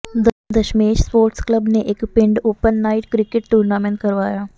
Dashmesh sports club ਨੇ ਇੱਕ ਪਿੰਡ ਓਪਨ ਨਾਈਟ ਕ੍ਰਿਕਟ ਟੂਰਨਾਮੈਂਟ ਕਰਵਾਇਆ